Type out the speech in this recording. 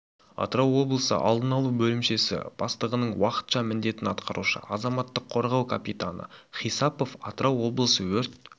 атырау облысы алдын алу бөлімшесі бастығының уақытша міндетін атқарушы азаматтық қорғау капитаны хисапов атырау облысы өрт